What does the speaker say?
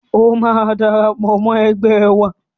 O máa darapọ̀ mọ́ ẹgbẹ́ wa